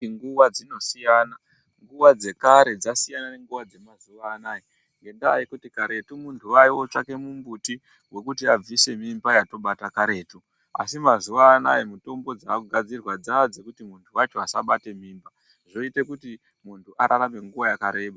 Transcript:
Inguva dzinosiyana, nguva dzekare dzasiyana nenguva dzemazuva ano aya nendaba yokuti karetu muntu aindotsvake mumbuti wokuti abvise mimba yatobata karetu. Asi mazuvano ayo mitombo dzava kugadzirwa dzava dzokuti muntu wacho asabate mimba dzinoita kuti muntu ararame nguva yakareba.